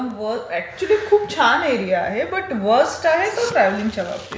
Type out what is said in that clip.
Actually तो खूप छान एरिया आहे पण व्हर्स्ट आहे तो ट्रॅव्हलिंगच्या बाबतीत.